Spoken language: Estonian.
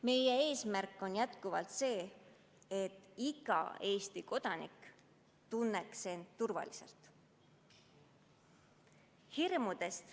Meie eesmärk on jätkuvalt see, et iga Eesti kodanik tunneks end turvaliselt.